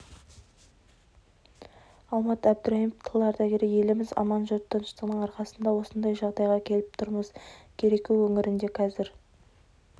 алмат әбдірайымов тыл ардагері еліміз аман жұрт тыныштығының арқасында осындай жағдайға келіп тұрмыз кереку өңірінде қазір